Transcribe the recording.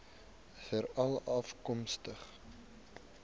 veralafkomstig